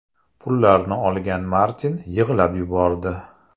Pullarni olgan Martin yig‘lab yubordi.